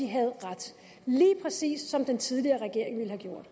havde ret lige præcis som den tidligere regering ville have